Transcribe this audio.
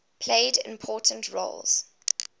played important roles